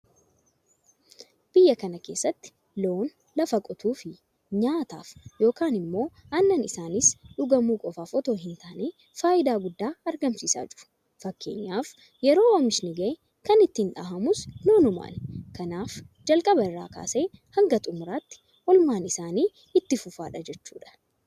Biyya kana keessatti loon lafa qotuufi nyaataaf yookiin immoo aannan isaaniis dhugamuu qofaaf itoo hintaane faayidaa guddaa argamsiisaa jiru. Fakkeenyaaf yeroo oomishni gahe kan ittiin dhahamus loonumaani. Kanaaf jalqaba irraa kaasee hanga xumuraatti oolmaan isaanii itti fufaadha jechuudha.